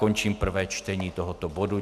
Končím prvé čtení tohoto bodu.